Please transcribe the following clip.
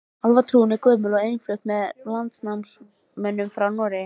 Álfatrúin er gömul og innflutt með landnámsmönnum frá Noregi.